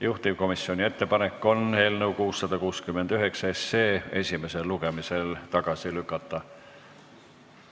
Juhtivkomisjoni ettepanek on eelnõu 669 esimesel lugemisel tagasi lükata.